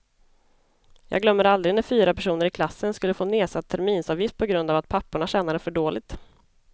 Jag glömmer aldrig när fyra personer i klassen skulle få nedsatt terminsavgift på grund av att papporna tjänade för dåligt.